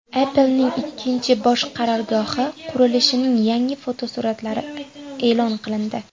Apple’ning ikkinchi bosh qarorgohi qurilishining yangi fotosuratlari e’lon qilindi.